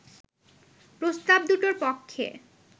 প্রস্তাব দুটোর পক্ষে